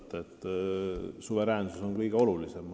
Ma arvan, et suveräänsus on kõige olulisem.